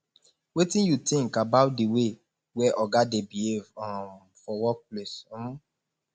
wetin you think about di way wey oga dey behave um for workplace um